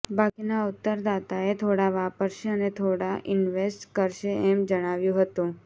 બાકીના ઉત્તરદાતાએ થોડા વાપરશે અને થોડા ઇન્વેસ્ટ કરશે એમ જણાવ્યું હતું